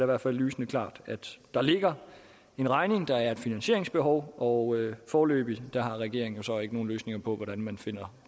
hvert fald lysende klart at der ligger en regning der er et finansieringsbehov og foreløbig har regeringen så ikke nogen løsninger på hvordan man finder